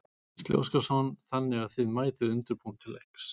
Gísli Óskarsson: Þannig að þið mætið undirbúin til leiks?